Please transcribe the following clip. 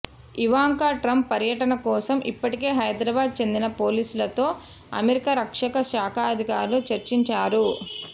Ivanka Trump పర్యటన కోసం ఇప్పటికే హైద్రాబాద్ చెందిన పోలీసులతో అమెరికా రక్షణ శాఖాధికారులు చర్చించారు